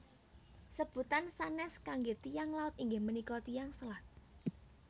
Sebutan sanés kangge Tiyang Laut inggih punika Tiyang Selat